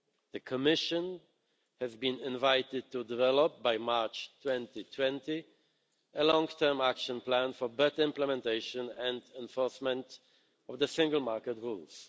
The Commission has been invited to develop, by March 2020, a long-term action plan for better implementation and enforcement of the single market rules.